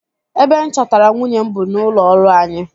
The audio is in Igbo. Ebe m chọtara nwunye m bụ n'ụlọọrụ anyi